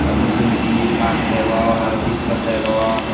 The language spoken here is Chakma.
ah mujungedi madi degong aro pij pot degong.